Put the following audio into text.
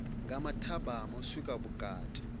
nga mathabama u swika vhukati